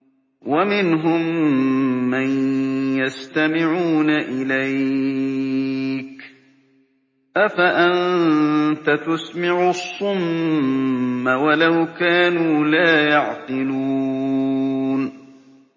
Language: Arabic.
وَمِنْهُم مَّن يَسْتَمِعُونَ إِلَيْكَ ۚ أَفَأَنتَ تُسْمِعُ الصُّمَّ وَلَوْ كَانُوا لَا يَعْقِلُونَ